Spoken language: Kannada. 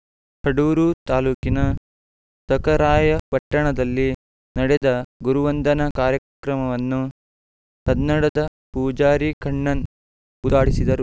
ಕಡೂರು ತಾಲೂಕಿನ ಸಖರಾಯಪಟ್ಟಣದಲ್ಲಿ ನಡೆದ ಗುರುವಂದನಾ ಕಾರ್ಯಕ್ರಮವನ್ನು ಕನ್ನಡದ ಪೂಜಾರಿ ಕಣ್ಣನ್‌ ಉದ್ಘಾಟಿಸಿದರು